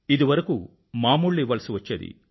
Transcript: ఇదివరకూ మామూళ్ళు ఇవ్వాల్సి వచ్చేది